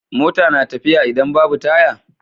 Mota na tafiya idan Babu taya